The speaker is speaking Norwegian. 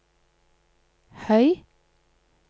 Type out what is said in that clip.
høy